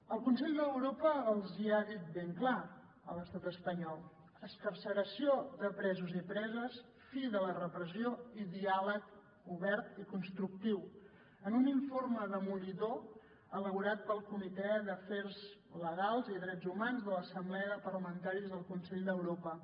el consell d’europa els hi ha dit ben clar a l’estat espanyol excarceració de presos i preses fi de la repressió i diàleg obert i constructiu en un informe demolidor elaborat pel comitè d’afers legals i drets humans de l’assemblea de parlamentaris del consell d’europa